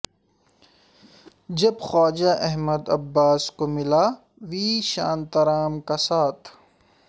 جب خواجہ احمد عباس کو ملا وی شانتارام کا ساتھ